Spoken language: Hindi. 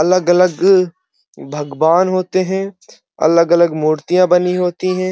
अलग-अलग भगवान होते हैं। अलग-अलग मुर्तिया बनी होती हैं।